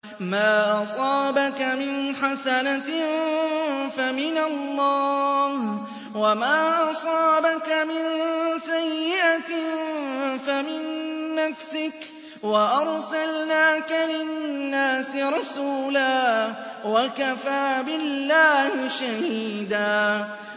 مَّا أَصَابَكَ مِنْ حَسَنَةٍ فَمِنَ اللَّهِ ۖ وَمَا أَصَابَكَ مِن سَيِّئَةٍ فَمِن نَّفْسِكَ ۚ وَأَرْسَلْنَاكَ لِلنَّاسِ رَسُولًا ۚ وَكَفَىٰ بِاللَّهِ شَهِيدًا